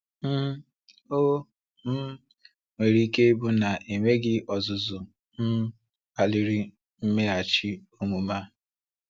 um Ò um nwere ike ịbụ na enweghị ọzụzụ um kpaliri mmeghachi omume a?